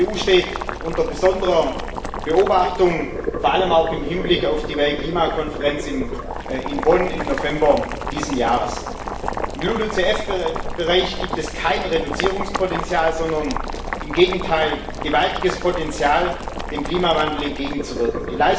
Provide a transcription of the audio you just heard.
Die EU steht unter besonderer Beobachtung vor allem auch im Hinblick auf die Weltklimakonferenz in Bonn im November dieses Jahres. Im LULUCF Bereich gibt es kein Reduzierungspotential, sondern im Gegenteil ein gewaltiges Potenzial, dem Klimawandel entgegenzuwirken.